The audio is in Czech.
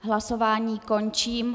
Hlasování končím.